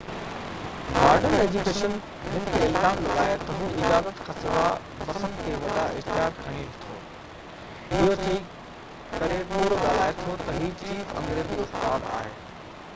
modern education هن تي الزام لڳايو تہ هو اجازت کانسواءِ بسن تي وڏا اشتهار هڻي ٿو ۽ اهو چئي ڪري ڪوڙ ڳالهائي ٿو تہ هي چيف انگريزي استاد هو